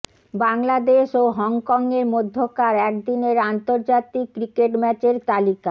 বাংলাদেশ ও হংকংয়ের মধ্যকার একদিনের আন্তর্জাতিক ক্রিকেট ম্যাচের তালিকা